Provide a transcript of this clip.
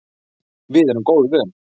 Við erum góðu vön.